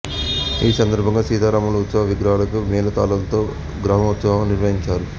ఈ సందర్భంగా శ్రీ సీతారాముల ఉత్సవ విగ్రహాలకు మేళతాళాలతో గ్రామోత్సవం నిర్వహించారు